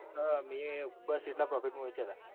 હા મીયે બસ એટલા profit માં વેચ્યા હતા.